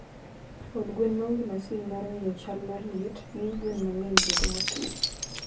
Od gwen ma onge masin mar ng'iyo chal mar liet, miyo gwen mang'eny bedo matuwo.